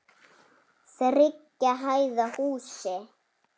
Þriggja hæða húsi.